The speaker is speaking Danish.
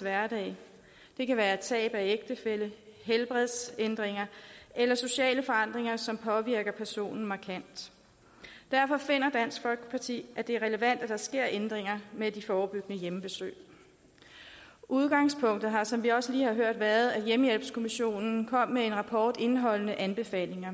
hverdag det kan være tab af ægtefælle helbredsændringer eller sociale forandringer som påvirker personen markant derfor finder dansk folkeparti at det er relevant at der sker ændringer med de forebyggende hjemmebesøg udgangspunktet har som vi også lige har hørt været at hjemmehjælpskommissionen kom med en rapport indeholdende anbefalinger